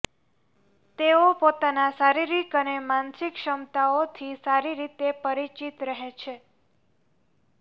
તેઓ પોતાના શારીરિક અને માનસિક ક્ષમતાઓથી સારી રીતે પરિચિત રહે છે